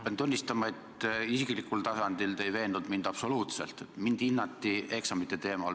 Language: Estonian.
Pean tunnistama, et isiklikul tasandil ei veennud te mind eksamite teemal absoluutselt.